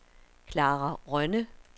Klara Rønne